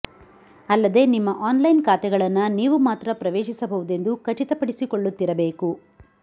ಅಲ್ಲದೆ ನಿಮ್ಮ ಆನ್ಲೈನ್ ಖಾತೆಗಳನ್ನ ನೀವು ಮಾತ್ರ ಪ್ರವೇಶಿಸಬಹುದೆಂದು ಖಚಿತ ಪಡಿಸಕೊಳ್ಳುತ್ತಿರಬೇಕು